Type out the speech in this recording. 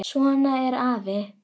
Svona er afi.